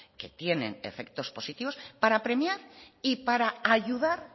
que tienen efectos positivos para premiar y para ayudar